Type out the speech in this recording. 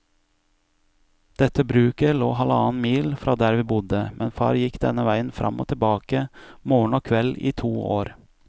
Dette bruket lå halvannen mil fra der vi bodde, men far gikk denne veien fram og tilbake morgen og kveld i to år.